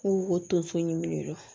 Ko o tonso ɲimi don